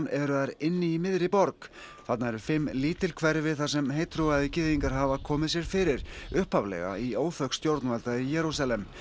eru þær inni í miðri borg þarna eru fimm lítil hverfi þar sem heittrúaðir gyðingar hafa komið sér fyrir upphaflega í óþökk stjórnvalda í Jerúsalem